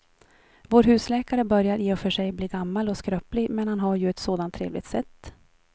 Vår husläkare börjar i och för sig bli gammal och skröplig, men han har ju ett sådant trevligt sätt!